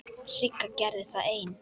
Sigga gerði það ein.